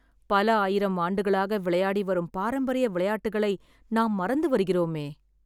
பல ஆயிரம் ஆண்டுகளாக விளையாடி வரும் பராம்பரிய விளையாட்டுகளை நாம் மறந்து வருகிறோமே